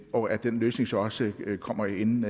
og at den løsning så også kommer inden